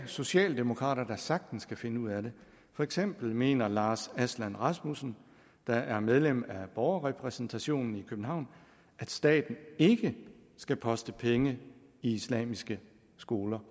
socialdemokrater der sagtens kan finde ud af det for eksempel mener lars aslan rasmussen der er medlem af borgerrepræsentationen i københavn at staten ikke skal poste penge i islamiske skoler